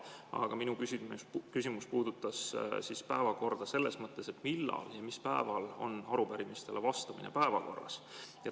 Aga minu küsimus puudutas päevakorda selles mõttes, et millal ja mis päeval on arupärimistele vastamine päevakorras.